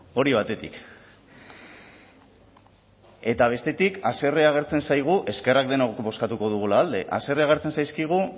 hori batetik eta bestetik haserrea agertzen zaigu eskerrak denok bozkatuko dugula alde haserrea agertzen zaizkigu